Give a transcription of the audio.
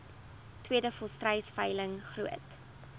tweede volstruisveiling groot